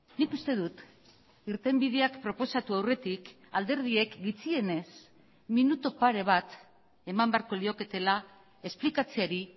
nik uste dut irtenbideak proposatu aurretik alderdiek gutxienez minutu pare bat eman beharko lioketela esplikatzeari